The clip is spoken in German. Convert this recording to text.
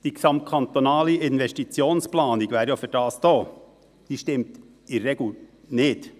Dafür wäre die gesamtkantonale Investitionsplanung ja da, aber diese stimmt in der Regel nicht.